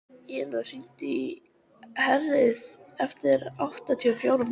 Ylur, hringdu í Herríði eftir áttatíu og fjórar mínútur.